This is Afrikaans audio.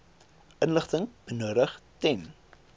inligting benodig ten